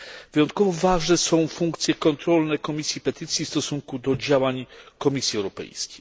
Wyjątkowo ważne są funkcje kontrolne Komisji Petycji w stosunku do działań Komisji Europejskiej.